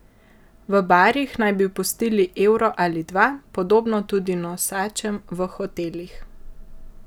V barih naj bi pustili evro ali dva, podobno tudi nosačem v hotelih.